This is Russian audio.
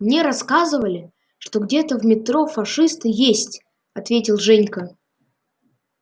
мне рассказывали что где-то в метро фашисты есть ответил женька